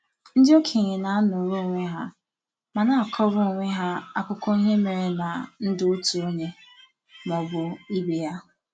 ndị okenye n’anọrọ onwe ha ma na-akọrọ onwe ha akụko ihe mere na ndụ otu onye ma ọ bụ ibe ya